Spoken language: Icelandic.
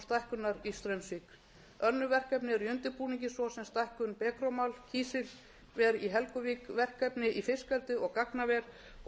stækkunar í straumsvík önnur verkefni eru í undirbúningi svo sem stækkun becromalkísilver í helguvík verkefni í fiskeldi og gagnaver og